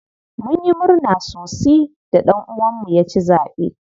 Munyi murna sosi da ɗan uwan mu ya ci zaɓe.